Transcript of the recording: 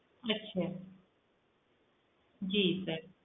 ਅੱਛਾ ਜੀ sir